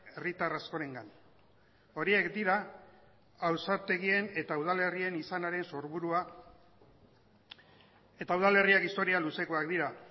herritar askorengan horiek dira ausartegien eta udalerrien izanaren sorburua eta udalerriak historia luzekoak dira